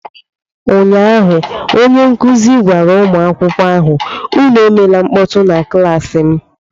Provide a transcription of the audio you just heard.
Ụnyaahụ onye nkuzi gwara ụmụ akwụkwọ ahụ, Unu emela mkpọtụ na klaasị m!